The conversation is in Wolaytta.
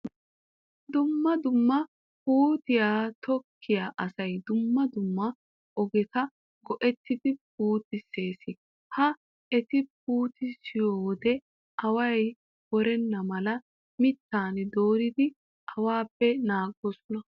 Dumma dumma puuteta tokkiya asay dumma dumma ogeta go'ettidi puutissees. Ha eti puutissiyo wode away worenna mala mittan dooridi awaape naagoosona.